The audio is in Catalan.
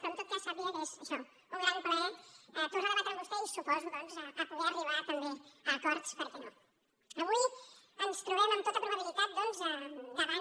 però en tot cas sàpiga que és això un gran plaer tornar a debatre amb vostè i suposo doncs poder arribar també a acords per què no avui ens trobem amb tota probabilitat doncs davant